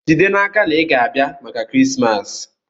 Jide n'aka na ị ga-abịa maka Krismas!